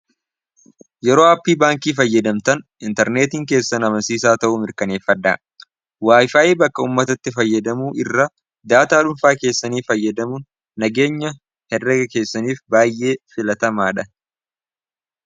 Yeroo ''aappii'' baankii fayyadamtan interneetiin keessan amansiisaa ta'uu mirkaneeffadhaa. ''Wifii'' bakka uummatatti fayyadamuu irra daataa dhuunfaa keessanii fayyadamuun nageenya herrega keessaniif baay'ee filatamaa dha.